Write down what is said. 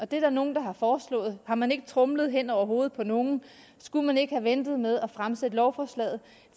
der er nogle der har foreslået og har man ikke tromlet hen over hovedet på nogle og skulle man ikke have ventet med at fremsætte lovforslaget